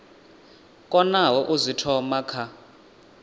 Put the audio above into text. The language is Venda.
konaho u zwi thoma kha